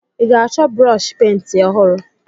Ị ga-achọ brọọshị penti ọhụrụ?